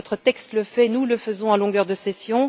Notre texte le fait et nous le faisons à longueur de session.